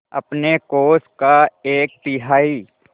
अपने कोष का एक तिहाई